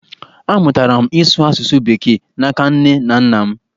Amụtara m ịsụ asụsụ bekee n’aka nne na nna m.